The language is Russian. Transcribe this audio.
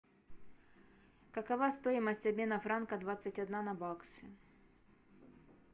какова стоимость обмена франка двадцать одна на баксы